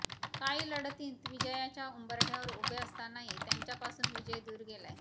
काही लढतींत विजयाच्या उंबरठय़ावर उभे असतानाही त्यांच्यापासून विजय दूर गेलाय